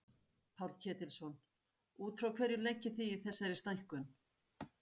Páll Ketilsson: Út frá hverju leggið þið í þessari stækkun?